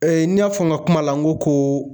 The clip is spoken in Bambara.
n y'a fɔ n ka kuma la n ko ko.